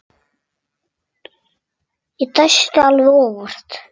Ég dæsti alveg óvart.